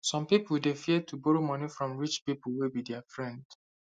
some people dey fear to borrow money from rich people wey be their friend